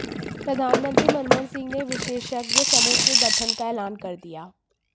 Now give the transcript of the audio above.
प्रधानमंत्री मनमोहन सिंह ने एक विशेषज्ञ समूह के गठन का ऐलान कर दिया